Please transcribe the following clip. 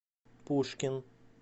пушкин